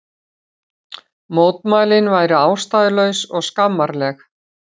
Mótmælin væru ástæðulaus og skammarleg